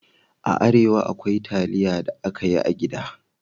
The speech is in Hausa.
A Arewa, akwai taliya da aka yi a gida